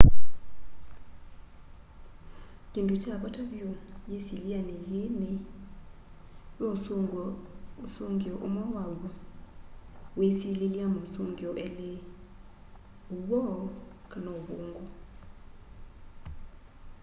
kindũ kya vata vyũ yisilyani yii ni ve ũsũngio umwe wa w'o wiisililya mausungio eli uw'o kana ũvungũ